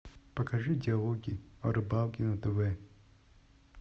покажи диалоги о рыбалке на тв